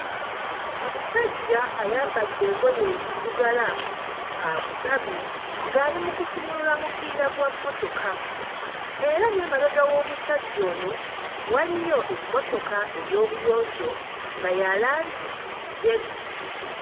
Omusajja ayambadde engoye eziddugala akutamye, ng'ali mu kusumulula mupiira gwa mmotoka. Era n'emabega w'omusajja ono waliyo emmotoka ey'obuyonjo nga ya langi njeru.